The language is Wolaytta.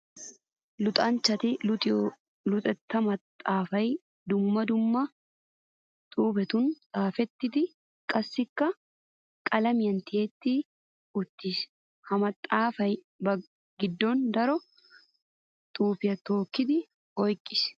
Luxanchchatti luxiyo luxetta maxafay dumma dumma xuufettun xaafettiddi qassikka qalamiyan tiyettiddi uttiis. Ha maxafay ba gidon daro xuufiya tookiddi oyqqiis.